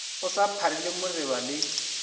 o sa pharile moreba le